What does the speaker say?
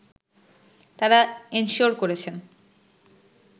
তারা এনশিওর করেছেন